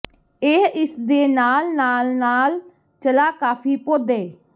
ਇਹ ਇਸ ਦੇ ਨਾਲ ਨਾਲ ਨਾਲ ਚਲਾ ਕਾਫ਼ੀ ਪੌਦੇ